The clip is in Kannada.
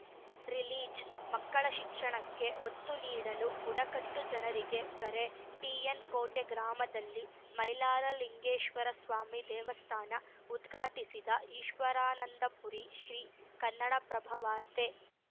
ರಿಲೀಜ್‌ ಮಕ್ಕಳ ಶಿಕ್ಷಣಕ್ಕೆ ಒತ್ತು ನೀಡಲು ಬುಡಕಟ್ಟು ಜನರಿಗೆ ಕರೆ ಟಿಎನ್‌ ಕೋಟೆ ಗ್ರಾಮದಲ್ಲಿ ಮೈಲಾರಲಿಂಗೆಶ್ವರಸ್ವಾಮಿ ದೇವಸ್ಥಾನ ಉದ್ಘಾಟಿಸಿದ ಈಶ್ವರಾನಂದಪುರಿ ಶ್ರೀ ಕನ್ನಡಪ್ರಭವಾರ್ತೆ